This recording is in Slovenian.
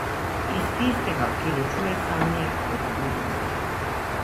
Iz tistega, ki ločuje sanje od budnosti.